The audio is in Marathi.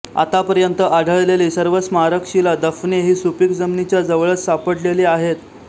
आत्तापर्यंत आढळलेली सर्व स्मारकशिला दफने ही सुपीक जमिनीच्या जवळच सापडलेली आहेत